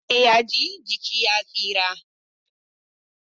Idan kunni ya ji jiki ya tsira.